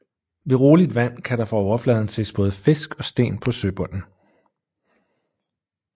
Ved roligt vand kan der fra overfladen ses både fisk og sten på søbunden